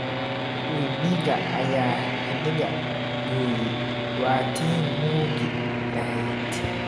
Webiga ayaa xadhiga gooyay, waa tii nuugi lahayd.